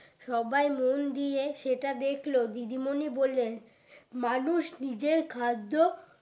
সবাই মন দিয়ে সেটা দেখলো দিদিমনি বললেন মানুষ নিজের খাদ্য